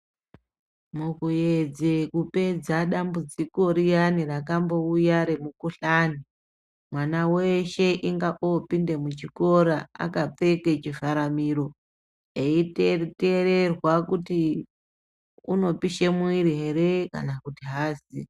Mukuedze kupedza dambudziko riyani rakambouya remukhuhlani. Mwana weshe inga opinda muchikora akapfeka chivhara miro. Eitererwa kuti unopisha mwiri ere kana kuti aazi.